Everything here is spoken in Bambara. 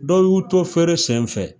Dɔw y'u to feere sen fɛ